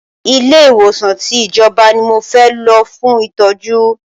Ilé ìwòsàn tí ìjọba ní mo fẹ́ lọ fún ìtọ́jú!